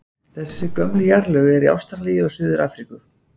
Þessi gömlu jarðlög eru í Ástralíu og Suður-Afríku.